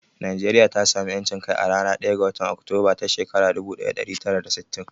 Najeriya ta samu ƴancin kai a ranar ɗaya ga watan Oktober ta shekarar dubu ɗaya da ɗari tara da sittin.